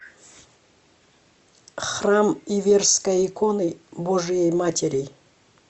храм иверской иконы божией матери